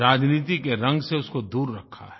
राजनीति के रंग से उसको दूर रखा है